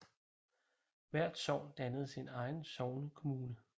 Hvert sogn dannede sin egen sognekommune